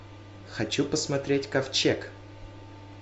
хочу посмотреть ковчег